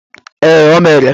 Ee, o mere